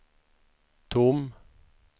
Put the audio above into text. tom